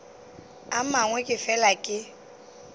a mangwe ke fela ke